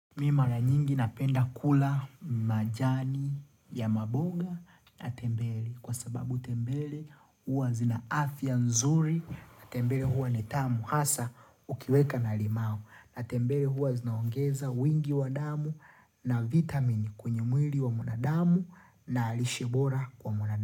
Mi mara nyingi napenda kula majani ya maboga na tembele kwa sababu tembele huwa zina afya nzuri na tembele huwa ni tamu hasa ukiweka na limau na tembele huwa zinaongeza wingi wa damu na vitamini kwenye mwili wa mwanadamu na lishe bora kwa mwanadamu.